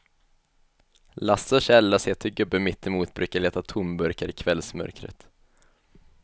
Lasse och Kjell har sett hur gubben mittemot brukar leta tomburkar i kvällsmörkret.